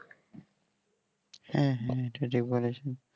হ্যাঁ হ্যাঁ এটা ঠিক বলেছো